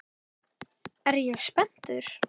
Er ég spenntur?